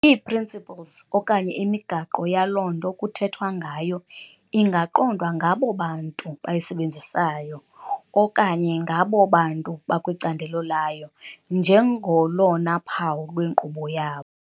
Ii"principles" okanye imigaqo yaloo nto kuthethwa ngayo ingaqondwa ngabo bantu bayisebenzisayo okanye ngabo bantu bakwicandelo layo njengolona phawu lwenkqubo yabo.